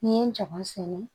N'i ye jaba sɛnɛ